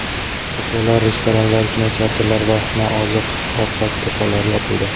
Kafelar, restoranlar, kinoteatrlar va nooziq-ovqat do‘konlari yopildi .